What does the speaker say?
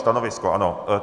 Stanovisko ano.